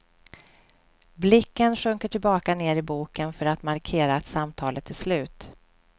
Blicken sjunker tillbaka ner i boken för att markera att samtalet är slut.